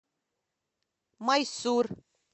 майсур